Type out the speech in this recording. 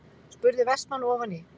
spurði Vestmann ofan í.